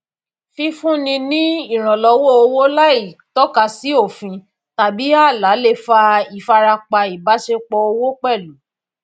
fífúnni ní ìrànlọwọ owó láìtọkasi òfin tàbí ààlà le fa ìfarapa ibáṣepọ owó pẹlú